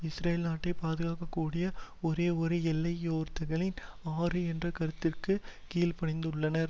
Israel நாட்டை பாதுகாக்ககூடிய ஒரேயொரு எல்லை யோர்தான் ஆறு என்ற கருத்திற்கு கீழ்ப்பணிந்துள்ளனர்